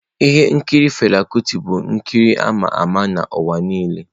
Ihe nkiri Fela Kuti bụ nkiri ama ama n'ụwa niile.